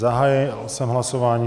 Zahájil jsem hlasování.